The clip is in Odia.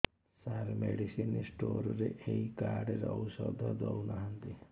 ସାର ମେଡିସିନ ସ୍ଟୋର ରେ ଏଇ କାର୍ଡ ରେ ଔଷଧ ଦଉନାହାନ୍ତି